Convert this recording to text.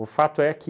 O fato é que...